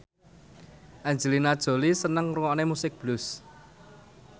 Angelina Jolie seneng ngrungokne musik blues